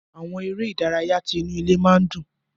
Àwọn eré ìdárayá tí inú ilé máa n dùn.